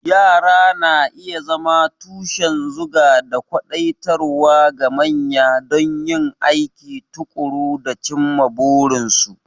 Yara na iya zama tushen zuga da kwadaitarwa ga manya don yin aiki tuƙuru da cimma burinsu.